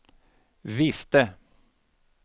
visste